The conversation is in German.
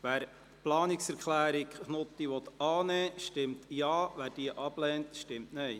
Wer die Planungserklärung annimmt, stimmt Ja, wer diese ablehnt, stimmt Nein.